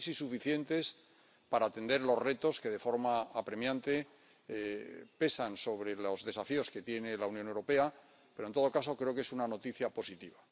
no sé si suficientes para atender los retos que, de forma apremiante, pesan sobre los desafíos que tiene la Unión Europea, pero, en todo caso, creo que es una noticia positiva.